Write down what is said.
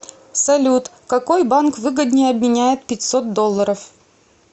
салют какой банк выгоднее обменяет пятьсот долларов